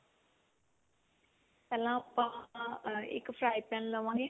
ਪਹਿਲਾਂ ਆਪਾਂ ਇੱਕ fry pan ਲਵਾਂਗੇ